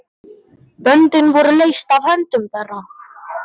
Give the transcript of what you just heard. Böndin voru leyst af höndum þeirra.